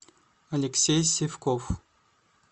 алексей сивков